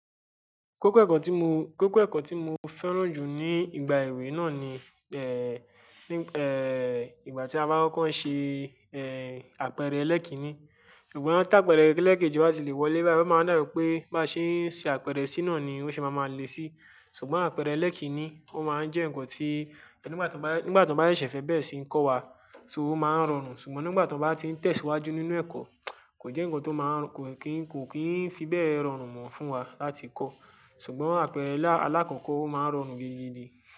Kókó ẹ̀kọ́ tí mo, kókó ẹ̀kọ́ tí mo fẹ́ràn jù ní ìgbà èwe náà ni, eh, ní, eh, ìgbà tí a bá ń kọ́ ń ṣe, eh, àpẹẹrẹ ẹlẹ́kíni. Ṣùgbọ́n tápẹẹrẹ ẹlẹ́kẹ́jì ó ti le wọlé bẹ́ẹ̀ láti máa ń dàr wipé bá ṣe ń ṣe àpẹẹrẹ sí náà ni ó ṣe máa ma lé sí. Ṣùgbọ́n àpẹẹrẹ ẹlẹ́kíni ó máa ń jẹ́ nǹkan tí nígbà tí wọ́n bá, nígbà tí wọ́n bá ṣẹ̀fẹ̀ bẹ́ẹ̀ sì ń kọ́ wa, ṣó máa ń rọrùn. Ṣùgbọ́n nígbà tí wọ́n bá ti ń tẹ̀síwájú nínú ẹ̀kọ́, kò jẹ́ nǹkan tó máa ń, kò kì í, kò kì í fi bẹ́ẹ̀ rọrùn mọ̀ fún wa láti kọ́. Ṣùgbọ́n àpẹẹrẹ alákọ̀ọ́kọ́ ó máa ń rọrùn gidigidi.